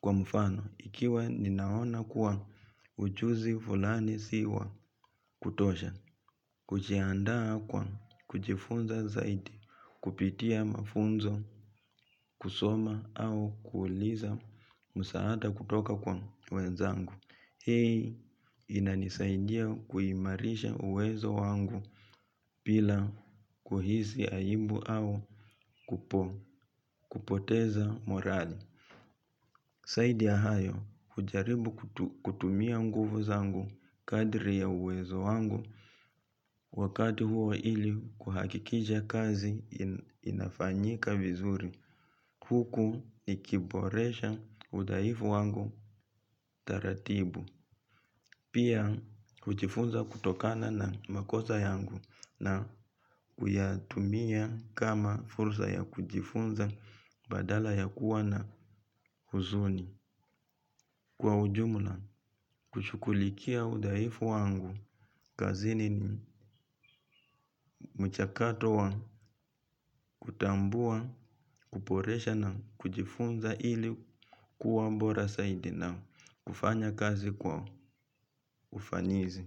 kwa mfano ikiwe ninaona kuwa ujuzi fulani si wa kutosha, hujiandaa kwa kujifunza zaidi, kupitia mafunzo, kusoma au kuuliza musaada kutoka kwa wenzangu. Hii inanisaidia kuimarisha uwezo wangu bila kuhisi aibu au kupoteza morale. Zaidi ya hayo hujaribu kutumia nguvu zangu kadri ya uwezo wangu wakati huo ili kuhakikisha kazi inafanyika vizuri huku nikiboresha udhaifu wangu taratibu pia kujifunza kutokana na makosa yangu na kuyatumia kama fursa ya kujifunza badala ya kuwa na huzuni. Kwa ujumla, hushughulikia udhaifu wangu, kazini mchakato wa kutambua, kuboresha na kujifunza ili kuwa bora zaidi na kufanya kazi kwa ufanisi.